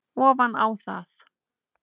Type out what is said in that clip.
ofan á það.